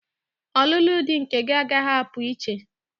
Ọlụlụ di nke gị agaghị apụ iche!